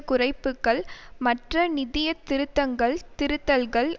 குறைப்புக்கள் மற்ற நிதிய திருத்தங்கள் திரித்தல்கள்